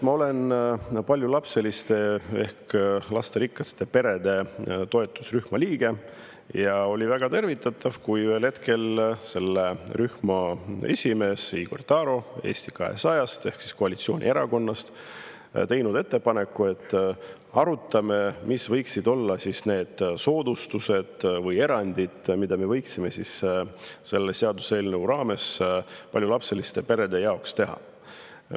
Ma olen paljulapseliste ehk lasterikaste perede toetusrühma liige ja oli väga tervitatav, kui ühel hetkel selle rühma esimees Igor Taro Eesti 200-st ehk koalitsioonierakonnast tegi ettepaneku, et arutame, mis võiksid olla need soodustused või erandid, mis me võiksime selle seaduseelnõu kohaselt paljulapseliste perede jaoks teha.